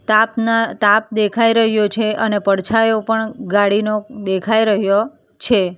તાપ ન તાપ દેખાઈ રહ્યો છે અને પડછાયો પણ ગાડીનો દેખાઈ રહ્યો છે.